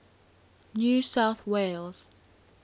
new south wales